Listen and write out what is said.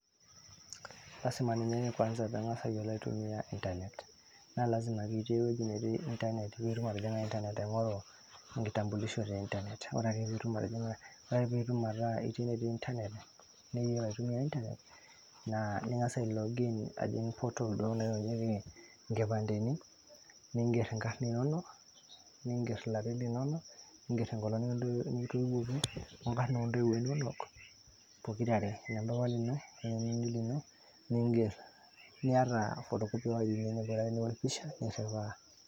Lasima ninye kwanza piiyiolo atumiya internet, naa lasima pee ijing' pee ing'oru enkitampulisho te internet, ore ake pee ijing' enetii internet ning'as ai log in portal duo naitainyieki inkipanteni ningerr ingarrin inonok, ningerr ilarin, wengong' nikitoiwuoki, wongarn oo ntowuo inonok pokirare.